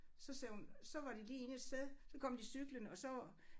Så sagde hun så var de lige inde et sted så kom de cyklende og så